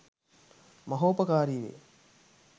මහෝපකාරී වේ.